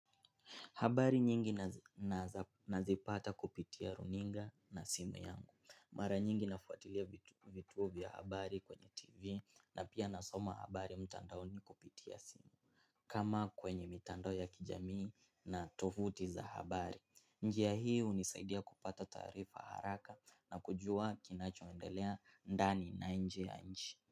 Habari nyingi nazipata kupitia runinga na simu yangu. Mara nyingi nafuatilia vituo vya habari kwenye tv na pia nasoma habari mtandaoni kupitia simu. Kama kwenye mitandao ya kijamii na tovuti za habari, njia hii hunisaidia kupata taarifa haraka na kujua kinachoendelea ndani na nje nchi.